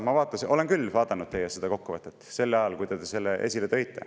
Ma vaatasin küll teie kokkuvõtet sel ajal, kui te selle esile tõite.